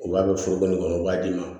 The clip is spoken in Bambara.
U b'a kɛ foroko nin kɔnɔ u b'a d'i ma